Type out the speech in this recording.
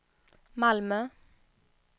Malmö